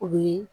O bi